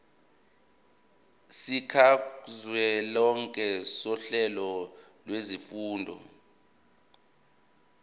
sikazwelonke sohlelo lwezifundo